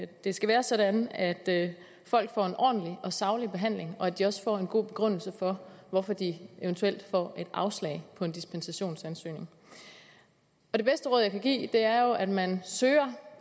det skal være sådan at at folk får en ordentlig og saglig behandling og at de også får en god begrundelse for hvorfor de eventuelt får et afslag på en dispensationsansøgning det bedste råd jeg kan give er jo at man søger